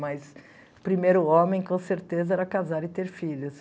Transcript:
Mas o primeiro homem, com certeza, era casar e ter filhos.